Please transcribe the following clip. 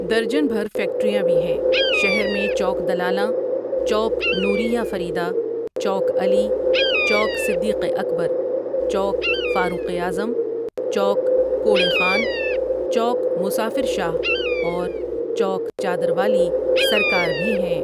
درجن بھر فیکٹریاں بھی ہیں شہر میں چوک دلالاں، چوک نور یہ فریدہ ، چوک علی، چوک صدیق اکبر، چوک فاروق اعظم، چوک کوڑے خان، چوک مسافر شاہ اور چوک چادر والی سرکار بھی ہیں ۔